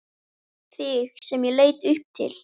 Þig sem ég leit upp til.